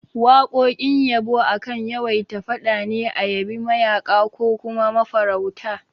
Waƙoƙin yabo akan yawaita faɗa ne a yabi mayaƙa ko kuma mafarauta